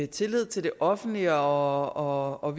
tillid til det offentlige og og